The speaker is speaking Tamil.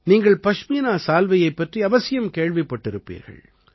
நீங்கள் பஷ்மீனா சால்வையைப் பற்றி அவசியம் கேள்விப்பட்டிருப்பீர்கள்